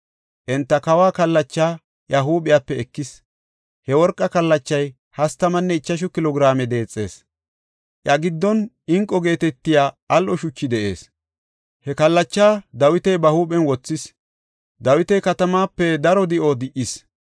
Enta kawa kallachaa iya huuphepe ekis. He worqa kallachay hastamanne ichashu kilo giraame deexees. Iya giddon inqo geetetiya al7o shuchi de7ees. He kallacha Dawiti huuphen wothis. Dawiti katamaape daro di7o di77is.